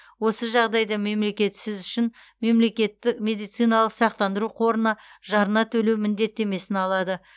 осы жағдайда мемлекет сіз үшін мемлекетті медициналық сақтандыру қорына жарна төлеу міндеттемесін алады